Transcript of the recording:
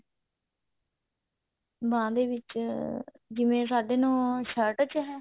ਬਾਂਹ ਦੇ ਵਿੱਚ ਜਿਵੇਂ ਸਾਢੇ ਨੋ shirt ਵਿੱਚ ਕਿਹਾ